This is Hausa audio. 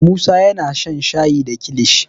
musa yana shan shayi da kilishi